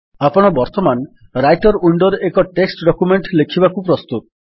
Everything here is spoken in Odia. ଆପଣ ବର୍ତ୍ତମାନ ରାଇଟର୍ ୱିଣ୍ଡୋରେ ଏକ ଟେକ୍ସଟ୍ ଡକ୍ୟୁମେଣ୍ଟ୍ ଲେଖିବାକୁ ପ୍ରସ୍ତୁତ